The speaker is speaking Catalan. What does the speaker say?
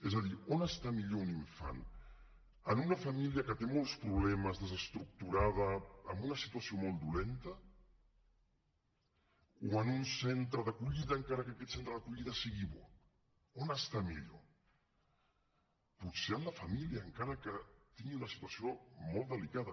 és a dir on està millor un infant en una família que té molts problemes desestructurada amb una situació molt dolenta o en un centre d’acollida encara que aquest centre d’acollida sigui bo on està millor potser en la família encara que tingui una situació molt delicada